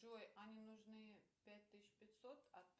джой ане нужны пять тысяч пятьсот